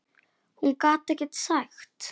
Hún gat ekkert sagt.